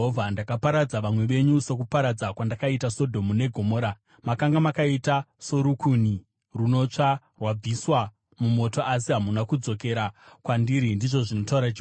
“Ndakaparadza vamwe venyu sokuparadza kwandakaita Sodhomu neGomora. Makanga makaita sorukuni runotsva, rwabviswa mumoto, asi hamuna kudzokera kwandiri,” ndizvo zvinotaura Jehovha.